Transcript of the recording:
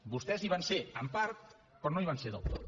vostès hi van ser en part però no hi van ser del tot